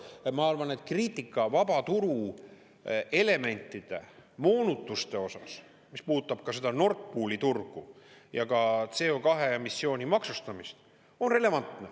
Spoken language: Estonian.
Ja ma arvan, et kriitika vabaturu elementide moonutuste osas, mis puudutab seda Nord Pooli turgu ja ka CO2-emissiooni maksustamist, on relevantne.